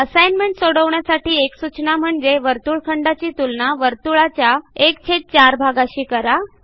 assignment सोडवण्यासाठी एक सूचना म्हणजे वर्तुळखंडाची तुलना वर्तुळाच्या 14भागाशी करा